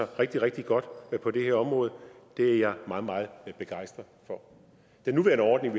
rigtig rigtig godt på det her område det er jeg meget meget begejstret for den nuværende ordning